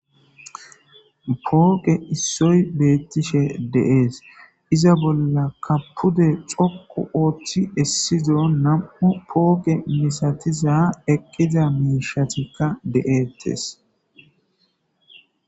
Pooge issoy beettishe deees iza bolla kappude xokku ooththi essido nam'u pooge misatiza eqqiza miishatikka de'ettes